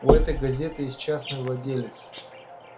у этой газеты есть частный владелец